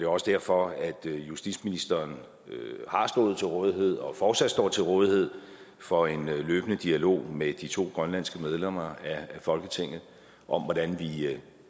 også derfor at justitsministeren har stået til rådighed og fortsat står til rådighed for en løbende dialog med de to grønlandske medlemmer af folketinget om hvordan vi